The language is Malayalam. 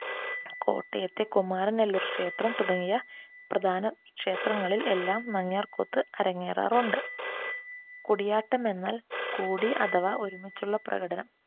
കോട്ടയത്തെ കുമാരനല്ലൂർ ക്ഷേത്രം തുടങ്ങിയ പ്രധാന ക്ഷേത്രങ്ങളിൽ എല്ലാം നങ്യാർ കൂത്ത് അരങ്ങേറാറുണ്ട്. കൂടിയാട്ടം എന്നാൽ കൂടി അഥവാ ഒരുമിച്ചുള്ള പ്രകടനം.